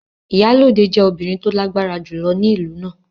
Iyalode jẹ́ obìnrin tó lágbára jùlọ ní ìlú náà.